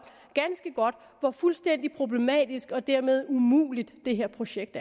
hvor fuldstændig problematisk og dermed umuligt det her projekt